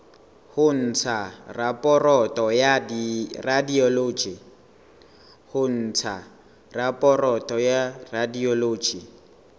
ho ntsha raporoto ya radiology